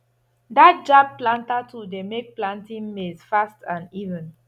that jab planter tool dey make plantin maize fast and even